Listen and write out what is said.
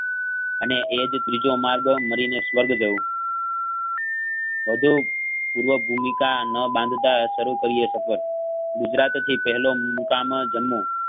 અને એજ ત્રીજો માળો મારીને સ્વર્ગ જવું વધુ પૂર્વક ભૂમિકા ન બાંધતા સારું કરીયે સફર ગુજરાતથી પહેલો મુકામ જમું.